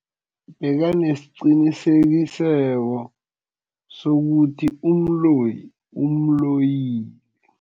Bekanesiqiniseko sokuthi umloyi umloyile.